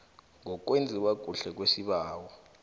ngokwenziwa kuhle kwesibawo